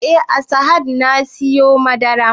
Eh a sahad na siyo madarar